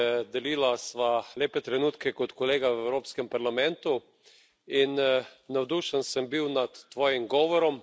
Delila sva lepe trenutke kot kolega v Evropskem parlamentu in navdušen sem bil nad tvojim govorom.